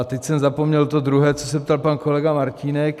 A teď jsem zapomněl to druhé, co se ptal pan kolega Martínek...